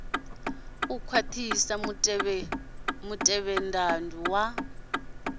riṋe u khwaṱhisa mutevhethandu wa